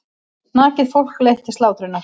Nakið fólk leitt til slátrunar.